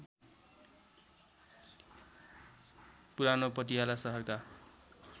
पुरानो पटियाला सहरका